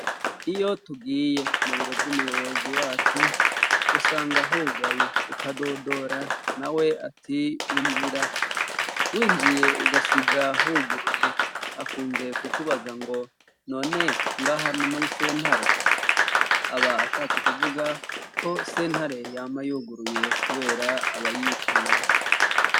Iyo tugiye mu biro vy'umuyobozi wacu, usanga hugaye ,ukadodora na we ati injira ,winjiye ugasiga huguruye ,akunze kukubaza ngo : None ngaha ni muri sentare ? aba ashatse kuvuga ko sentare yama yuguruye kubera abayitura.